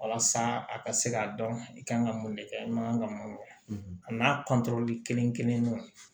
Walasa a ka se k'a dɔn i kan ka mun de kɛ i man kan ka mun kɛ a n'a kelen kelen